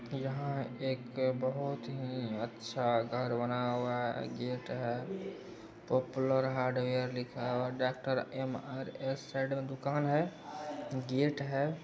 यहाँ एक बहुत ही अच्छा घर बना हुआ गेट है पोपुलर हार्डवेयर लिखा हुआ है। डाक्टर एम_आर_एस साइड में दुकान है गेट है।